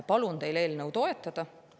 Palun teil eelnõu toetada.